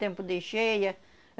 Tempo de cheia.